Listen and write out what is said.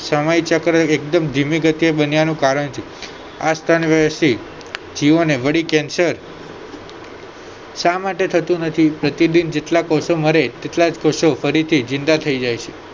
સમયચક્ર એકદમ ધીમી ગતિએ બન્યા નું કારણ છે આ સ્તનવયશી જીવોને વળી cancer શા માટે થતું નથી પ્રતિદિન જેટલા કોષો મરે તેટલાજ કોષો ફરીથી જિંદા થય જાય છે